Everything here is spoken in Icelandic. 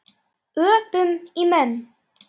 Öpum í menn.